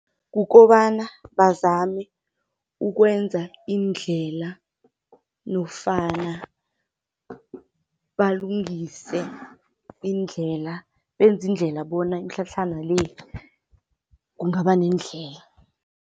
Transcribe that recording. Kukobana bazame ukwenza iindlela nofana balungise iindlela. Benze iindlela bona imitlhatlhana le, kungaba nendlela.